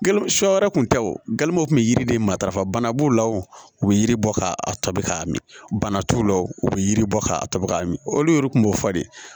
Sɔ wɛrɛ kun tɛ wo gamugu kun bɛ yiri de matarafa bana b'o la o bɛ yiribɔ ka tɔbi k'a min bana t'u la o u bɛ yiri bɔ ka tɔ bɛ ka min olu yɛrɛ tun b'o fɔ de